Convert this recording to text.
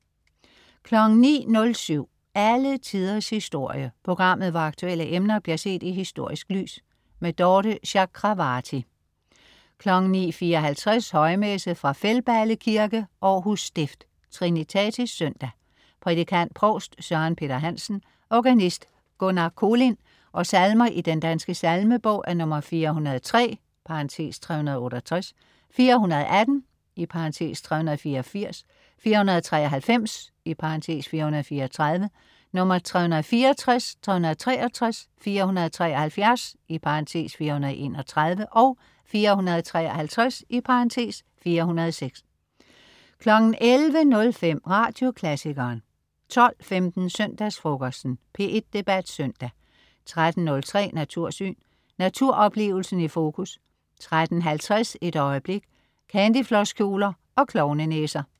09.07 Alle Tiders Historie. Programmet hvor aktuelle emner bliver set i historisk lys. Dorthe Chakravarty 09.54 Højmesse. Fra Feldballe kirke. (Århus Stift). Trinitatis søndag. Prædikant: provst Søren Peter Hansen. Organist: Gunnar Kolind. Salmer i Den Danske Salmebog: 403 (368), 418 (384), 493 (434), 364, 363, 473 (431), 453 (406) 11.05 Radioklassikeren 12.15 Søndagsfrokosten. P1 Debat Søndag 13.03 Natursyn. Naturoplevelsen i fokus 13.50 Et øjeblik. Candyflosskjoler og klovnenæser